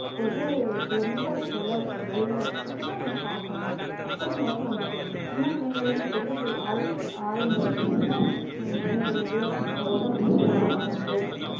ஒரு கிலோமீட்டர் தொலைவில வழியில வச்சிட்டு நாம பாக்கணும் அப்படிங்கறது வந்திட்டு சின்ன பிள்ளைங்களிருந்து பெரிய ஆளு ஆளுங்க வரைக்கும் என்ன சொல்றது உடம்பு சரியில்லாம வந்து